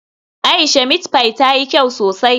Aisha meat pie tayi kyau sosai.